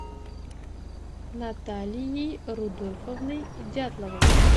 наталией рудольфовной дятловой